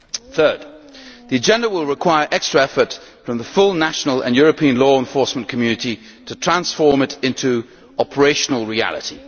Thirdly, the agenda will require extra effort from the full national and European law enforcement community to transform it into operational reality.